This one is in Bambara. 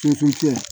Suntunya